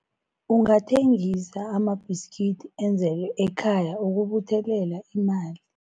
Ungathengisa amabhiskidi enzelwe ekhaya ukubuthelela imali.